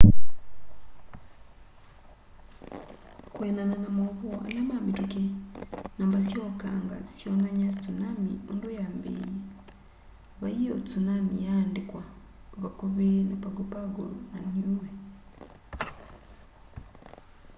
kwianana na mauvoo ala mamituki namba sya ukanga syonany'a tsunami undu yambiie vai o tsunami yaandikitwe vakuvi na pago pago na niue